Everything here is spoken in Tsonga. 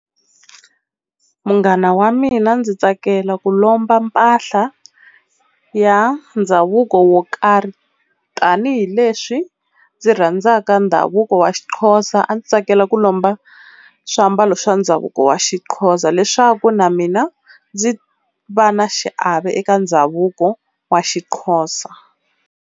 Munghana wa mina ndzi tsakela ku lomba mpahla ya ndhavuko wo karhi tanihileswi ndzi rhandzaka ndhavuko wa xiXhosa, a ndzi tsakela ku lomba swiambalo swa ndhavuko wa xiXhosa leswaku na mina ndzi va na xiave eka ndhavuko wa xiXhosa.